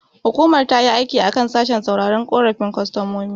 Hukumar tayi aiki a kan sashen sauraron korafin kostomomi.